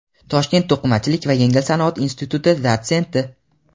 Toshkent to‘qimachilik va yengil sanoat instituti dotsenti;.